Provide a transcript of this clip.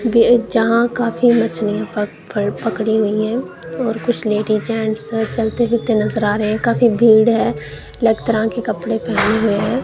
वे जहां काफी मछलियों पर पकड़ी हुई है और कुछ लेडिस जेंट्स चलते फिरते नजर आ रहे हैं काफी भीड़ है अलग तरह कपड़े पहने हुए हैं।